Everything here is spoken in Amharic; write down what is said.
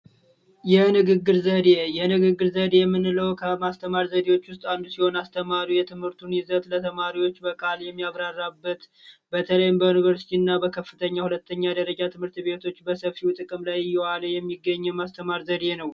የንግግር ዘዴ፦ የንግግር ዘዴ ምንለው ከማስተማር አይነቶች ውስጥ አንዱ ሲሆን አስተማሪው የትምህርቱን ይዘት ለተማሪዎች በቃሉ የሚያብራራበት በተለይም በከፍተኛ እና ሁለተኛ ደረጃ ትምህርት ቤቶች በሰፊው በጥቅም ላይ እየዋለ የሚገኝ የማስተማር ዘዴ ነው።